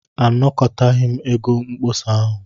Anakọtaghị m ego mkpọsa ahụ.